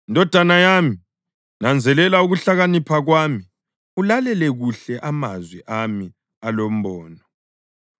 Ndodana yami, nanzelela ukuhlakanipha kwami, ulalele kuhle amazwi ami alombono,